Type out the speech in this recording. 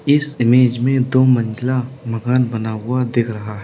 इस इमेज में दो मंजिला मकान बना हुआ दिख रहा है।